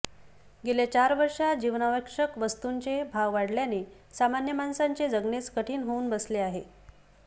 गेल्या चार वर्षात जीवनावश्यक वस्तूंचे भाव वाढल्याने सामान्य माणसाचे जगणेच कठीण होऊन बसले आहे